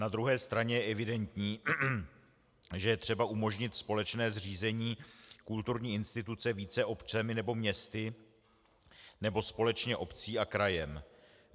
Na druhé straně je evidentní, že je třeba umožnit společné zřízení kulturní instituce více občany nebo městy nebo společně obcí a krajem.